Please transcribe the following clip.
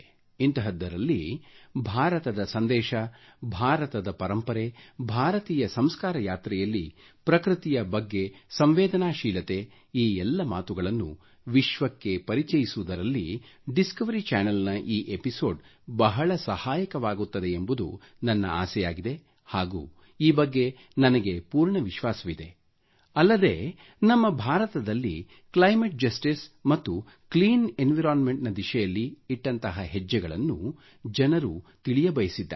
ಇಂತಹದ್ದರಲ್ಲಿ ಈ ಕಾರ್ಯಕ್ರಮ ಬಾರತದ ಸಂದೇಶ ಭಾರತದ ಪರಂಪರೆ ಬಾರತೀಯ ಸಂಸ್ಕಾರ ಯಾತ್ರೆಯಲ್ಲಿ ಪ್ರಕೃತಿಯ ಬಗ್ಗೆ ಸಂವೇದನಶೀಲತೆ ಈ ಎಲ್ಲ ಮಾತುಗಳನ್ನು ವಿಶ್ವಕ್ಕೆ ಪರಿಚಯಿಸುವುದರಲ್ಲಿ ಡಿಸ್ಕವರಿ ಚ್ಯಾನೆಲ್ ನ ಈ ಎಪಿಸೋಡ್ ಬಹಳ ಸಹಾಯಕವಾಗುತ್ತದೆಯೆಂಬುದು ನನ್ನ ಆಶೆಯಾಗಿದೆ ಹಾಗೂ ನನಗೆ ಪೂರ್ಣ ವಿಶ್ವಾಸವಿದೆ ಅಲ್ಲದೆ ನಮ್ಮ ಬಾರತದಲ್ಲಿ ಕ್ಲೈಮೇಟ್ ಜಸ್ಟಿಸ್ ಮತ್ತು ಕ್ಲೀನ್ ಎನ್ವೈರನ್ಮೆಂಟ್ ನ ದಿಶೆಯಲ್ಲಿ ಇಟ್ಟಂತಹ ಹೆಜ್ಜೆಗಳನ್ನು ಜನರು ತಿಳಿಯಬಯಸಿದ್ದಾರೆ